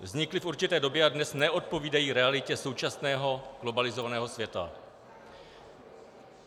Vznikly v určité době a dnes neodpovídají realitě současného globalizovaného světa.